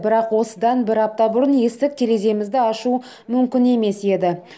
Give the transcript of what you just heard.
бірақ осыдан бір апта бұрын есік тереземізді ашу мүмкін емес еді